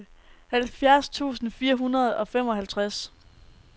halvfjerds tusind fire hundrede og femoghalvtreds